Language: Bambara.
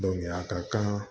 a ka kan